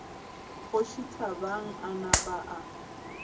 kgoši thabang a napa a